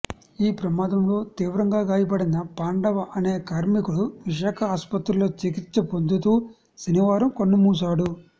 ఈ ప్రమాదంలో తీవ్రంగా గాయపడిన పాండవ అనే కార్మికుడు విశాఖ ఆస్పత్రిలో చికిత్స పొందుతూ శనివారం కన్నుమూశాడు